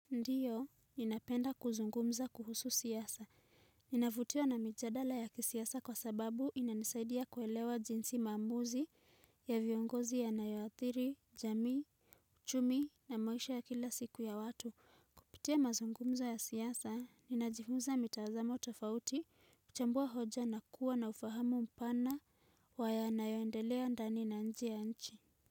Ndiyo, ninapenda kuzungumza kuhusu siasa. Ninavutiwa na mijadala ya kisiasa kwa sababu inanisaidia kuelewa jinsi mamuzi ya viongozi ya nayoathiri, jami, uchumi na maisha ya kila siku ya watu. Kupitia mazungumza ya siasa, ninajifunza mitazamo utafauti, kuchambua hoja na kuwa na ufahamu mpana wa ya nayoendelea ndani na nje ya nchi.